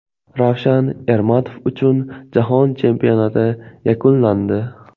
Ravshan Ermatov uchun Jahon Chempionati yakunlandi.